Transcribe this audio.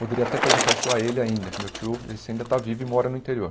Poderia até perguntar isso a ele ainda, que meu tio esse ainda está vivo e mora no interior.